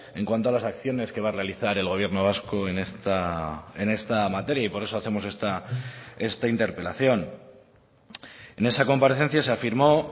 en cuanto a las acciones que va a realizar el gobierno vasco en esta materia y por eso hacemos esta interpelación en esa comparecencia se afirmó